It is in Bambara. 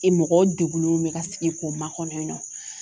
mɔgɔw degunenw bɛ ka sigi k'o makɔnɔ yen nɔ